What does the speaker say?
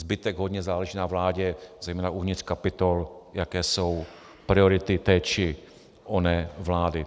Zbytek hodně záleží na vládě, zejména uvnitř kapitol, jaké jsou priority té či oné vlády.